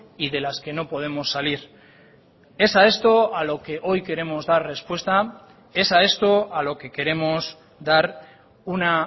y de las que no podemos salir es a esto a lo que hoy queremos dar respuesta es a esto a lo que queremos dar una